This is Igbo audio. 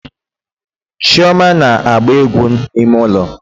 Chioma na-agba egwu n'ime ụlọ